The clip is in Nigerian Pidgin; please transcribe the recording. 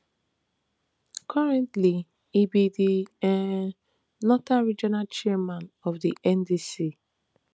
currently e be di um northern regional chairman of di ndc